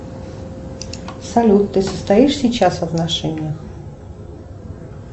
салют ты состоишь сейчас в отношениях